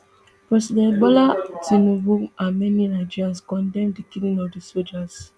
president bola tinubu and many nigerians condemn di killing of di sojas